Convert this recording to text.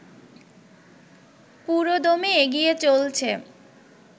পুরোদমে এগিয়ে চলছে